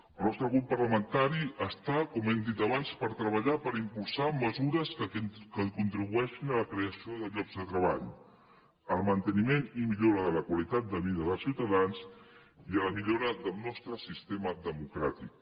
el nostre grup parlamentari està com hem dit abans per treballar per impulsar mesures que contribueixin a la creació de llocs de treball al manteniment i millora de la qualitat de vida dels ciutadans i a la millora del nostre sistema democràtic